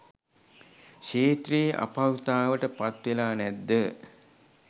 ක්ෂේත්‍රයේ අපහසුතාවට පත්වෙලා නැද්ද?